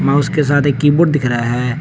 उसके साथ एक कीबोर्ड दिख रहा है।